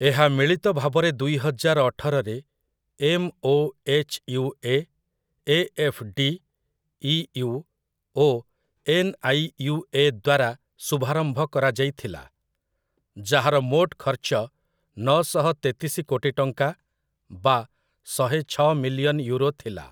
ଏହା ମିଳିତ ଭାବରେ ଦୁଇହଜାର ଅଠରରେ ଏମ୍‌.ଓ.ଏଚ୍‌.ୟୁ.ଏ., ଏ.ଏଫ୍‌.ଡି., ଇ.ୟୁ. ଓ ଏନ୍‌.ଆଇ.ୟୁ.ଏ. ଦ୍ୱାରା ଶୁଭାରମ୍ଭ କରାଯାଇଥିଲା, ଯାହାର ମୋଟ ଖର୍ଚ୍ଚ ନଅଶହ ତେତିଶି କୋଟି ଟଙ୍କା ବା ଶହେଛଅ ମିଲିୟନ୍ ୟୁରୋ ଥିଲା ।